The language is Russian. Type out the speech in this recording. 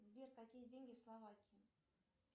сбер какие деньги в словакии